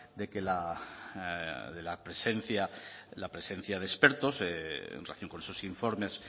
de que la de que la presencia la presencia de expertos en relación con esos informes